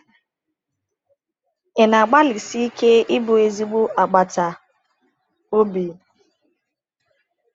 Ị na-agbalịsi ike ịbụ ezigbo agbata obi?’